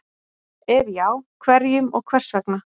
Ef já, hverjum og hvers vegna?